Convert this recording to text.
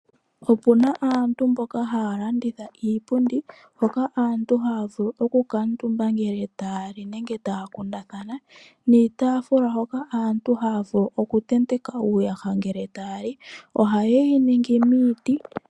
Opuna aantu mboka haya landitha iipundi hoka aantu haya vulu okukala ya kuutumba ngele taya li nenge taya kundathana, niitafula hoka aantu haya vulu okutenteka uuyaha ngele taya li. Ohaye yi ningi miiti.